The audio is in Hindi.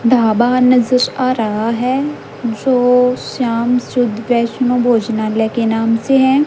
ढाबा नजर आ रहा है जो श्याम शुद्ध वैष्णो भोजनालय के नाम से है।